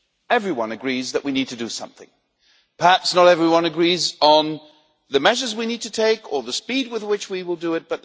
Everyone agrees that we need to do something perhaps not everyone agrees on the measures we need to take or the speed with which we will do it.